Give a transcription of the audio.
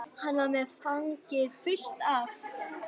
Hann var með fangið fullt af